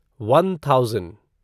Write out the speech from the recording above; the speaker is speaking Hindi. one thousand